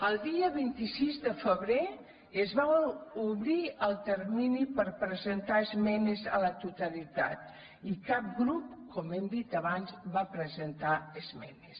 el dia vint sis de febrer es va obrir el termini per presentar esmenes a la totalitat i cap grup com hem dit abans va presentar hi esmenes